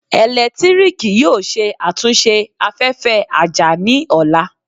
Eletiriki yoo ṣe atunṣe afẹfẹ aja ni ọla